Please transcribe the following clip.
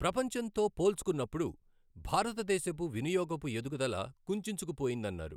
ప్రపంచంతో పోల్చుకున్నప్పుడు భారతదేశపు వినియోగపు ఎదుగుదల కుంచించుకు పోయిందన్నారు.